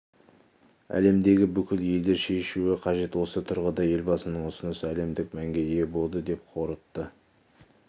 әлемдегі бүкіл елдер шешуі қажет осы тұрғыда елбасының ұсынысы әлемдік мәнге ие болды деп қорытты